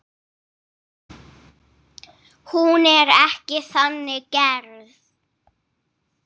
Hún er ekki þannig gerð.